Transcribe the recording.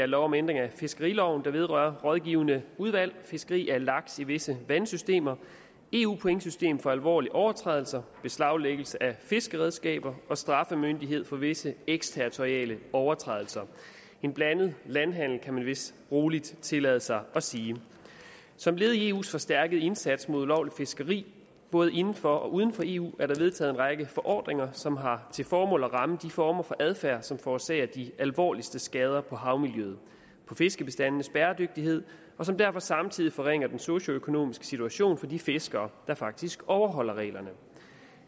lov om ændring af fiskeriloven der vedrører rådgivende udvalg fiskeri af laks i visse vandsystemer eu pointsystem for alvorlige overtrædelser beslaglæggelse af fiskeredskaber og straffemyndighed for visse eksterritoriale overtrædelser en blandet landhandel kan man vist roligt tillade sig at sige som led i eus forstærkede indsats mod ulovligt fiskeri både inden for og uden for eu er der vedtaget en række forordninger som har til formål at ramme de former for adfærd som forårsager de alvorligste skader på havmiljøet og på fiskebestandenes bæredygtighed og som derfor samtidig forringer den socioøkonomiske situation for de fiskere der faktisk overholder reglerne